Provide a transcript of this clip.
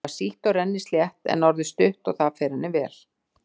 Það var sítt og rennislétt en er orðið stutt og það fer henni vel.